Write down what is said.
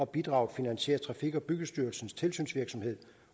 bidraget finansierer trafik og byggestyrelsens tilsynsvirksomhed